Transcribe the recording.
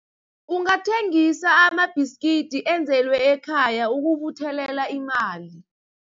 Ungathengisa amabhiskidi enzelwe ekhaya ukubuthelela imali.